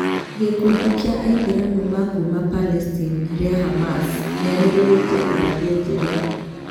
Gĩkundi kia Aithiramu ma kuuma Palestine rĩa Hamas rĩanĩrĩrte irathe njerũ